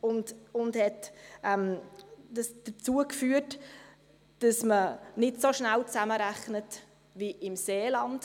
Das führte dazu, dass man nicht so schnell zusammenrechnete wie im Seeland.